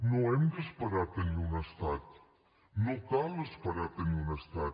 no hem d’esperar a tenir un estat no cal esperar a tenir un estat